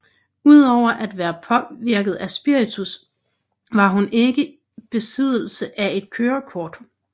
Udover at være påvirket af spiritus var hun ikke var besiddelse af et kørekort